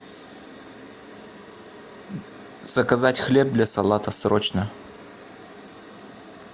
заказать хлеб для салата срочно